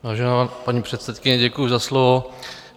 Vážená paní předsedkyně, děkuji za slovo.